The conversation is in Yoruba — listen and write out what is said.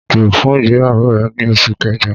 O n rin irin-ajo fun igbeyawo rẹ ni Oṣu Kẹjọ